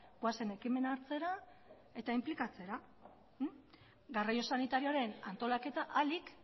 goazen ekimena hartzera eta inplikatzera garraio sanitarioaren antolaketa ahalik